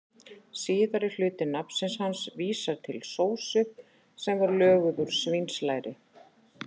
Síðari hluti nafns hans vísar til sósu sem löguð er úr svínslæri.